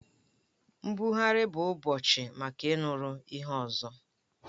Mbuagharị bụ ụbọchị maka ịnụrụ ihe ọzọ